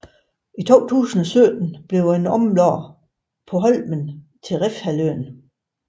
I 2017 blev den omlagt på Holmen til Refshaleøen